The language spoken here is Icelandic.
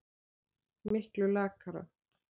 Miklu lakara.